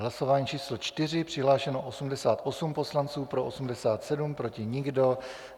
Hlasování číslo 4, přihlášeno 88 poslanců, pro 87, proti nikdo.